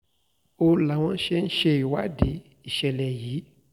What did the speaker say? ó láwọn ṣì ń ṣèwádìí ìṣẹ̀lẹ̀ yìí